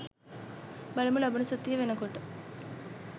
බලමු ලබන සතිය වෙනකොට